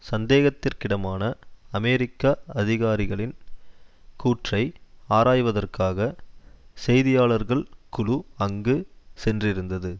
சந்தேகத்திற்கிடமான அமெரிக்க அதிகாரிகளின் கூற்றை ஆராய்வதற்காகச் செய்தியாளர்கள் குழு அங்கு சென்றிருந்தது